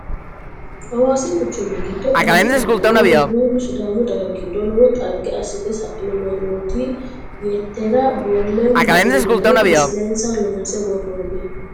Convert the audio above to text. Hawaasi quchumi giddo alibi annuwa worbuulle sidaamu daga giddo lowo dhagge assite sa'ino mannootu yettera boolleo lawinore misilensa loonse worroonni.